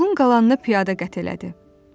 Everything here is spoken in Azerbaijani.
Yolun qalanını piyada qət elədi.